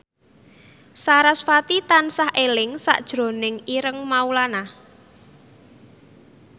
sarasvati tansah eling sakjroning Ireng Maulana